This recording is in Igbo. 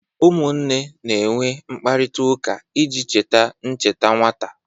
Ụmụnne na-enwe mkparịta ụka iji cheta ncheta nwata